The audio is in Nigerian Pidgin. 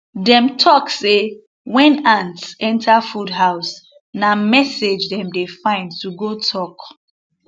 dem talk say when ants enter food house na message dem dey find to go talk